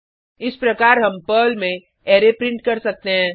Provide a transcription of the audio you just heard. इस प्रकार हम पर्ल में अरै प्रिंट कर सकते हैं